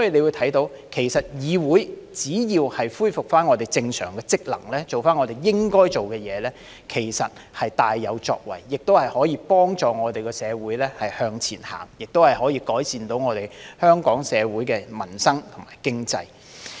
由此可見，議會只要恢復正常職能，做回我們應該做的事情，其實是會大有作為的，亦能幫助我們社會向前走，改善香港社會民生和經濟。